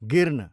गिर्न